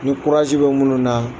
Ni bɛ minnu na